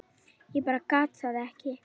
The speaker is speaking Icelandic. Ég bara gat það ekki.